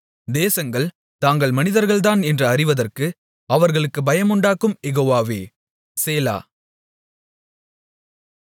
தேசங்கள் தாங்கள் மனிதர்கள்தான் என்று அறிவதற்கு அவர்களுக்குப் பயமுண்டாக்கும் யெகோவாவே சேலா